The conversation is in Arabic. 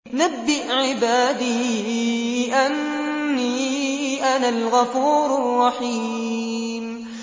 ۞ نَبِّئْ عِبَادِي أَنِّي أَنَا الْغَفُورُ الرَّحِيمُ